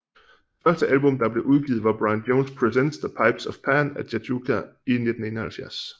Det første album der blev udgivet var Brian Jones Presents The Pipes of Pan at Jajouka i 1971